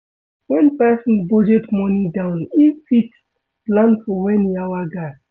When person budget money down im fit plan for when yawa gas